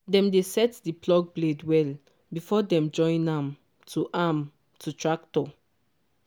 dem dey set di plough blade well before dem join am to am to tractor.